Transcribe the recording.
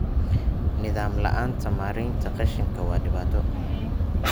Nidaam la'aanta maareynta qashinka waa dhibaato.